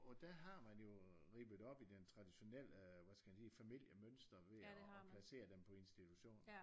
Og der har man jo øh rippet op i den traditionelle øh hvad skal jeg sige familiemønstre ved at placere dem på institutioner